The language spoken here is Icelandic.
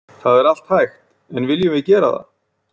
Það er allt hægt en viljum við gera það?